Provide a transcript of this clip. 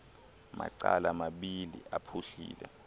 macala mabini aphuhlile